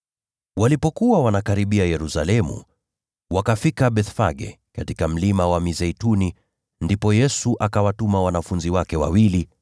Walipokaribia Yerusalemu, wakafika Bethfage katika Mlima wa Mizeituni. Ndipo Yesu akawatuma wanafunzi wake wawili,